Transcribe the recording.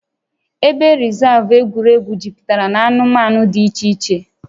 Ebe rịzaavụ egwuregwu juputara na anụmanụ dị iche iche